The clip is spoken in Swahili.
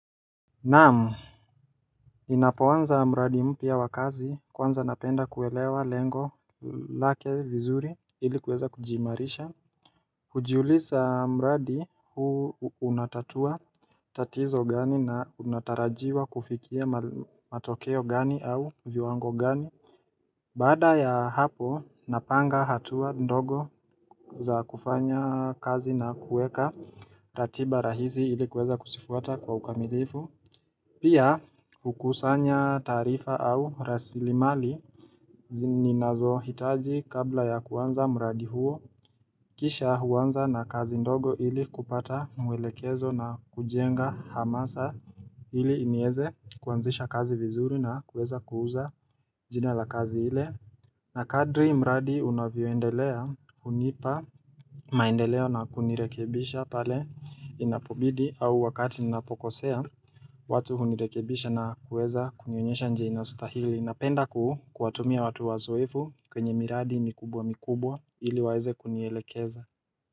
Naam, ninapoanza mradi mpya wa kazi kwanza napenda kuelewa lengo lake vizuri ilikuweza kujiimarisha Ujiuliza mradi huu unatatua tatizo gani na unatarajiwa kufikia matokeo gani au viwango gani Bada ya hapo, napanga hatua ndogo za kufanya kazi na kueka ratiba rahizi ilikuweza kusifuata kwa ukamilifu Pia hukusanya taarifa au rasilimali zini nazo hitaji kabla ya kuanza mradi huo kisha huanza na kazi ndogo ili kupata mwelekezo na kujenga hamasa ili inieze kuanzisha kazi vizuri na kuweza kuuza jina la kazi ile na kadri mradi unavyoendelea hunipa maendeleo na kunirekebisha pale inapobidi au wakati inapokosea watu hunirekebisha na kuweza kunionyesha nje inastahili na penda kuhu kuwatumia watu wazoefu kwenye miradi mikubwa mikubwa ili waeze kunielekeza.